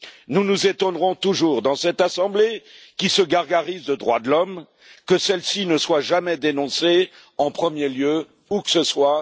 Nous nous étonnerons toujours, dans cette assemblée qui se gargarise de droits de l'homme, que celle ci ne soit jamais dénoncée en premier lieu, où que ce soit.